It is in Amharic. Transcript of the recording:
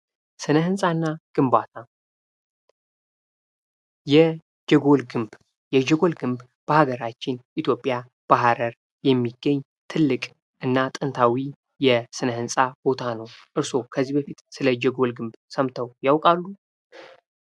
ስነ-ህንፃናትግንባታ የጀጎል ግንብ የጀጎል ግንብ በሀገራችን ኢትዮጵያ በሀረር የሚገኝ ትልቅ እና ጥንታዊ የስነ-ህንፃ ቦታ ነው። እና ጥንታዊ የስነ ህንፃ ቦታ ነው። እርሶ ከዚህ በፊት ስለ ጀጎል ግንብ ሰምተው ያውቃሉ።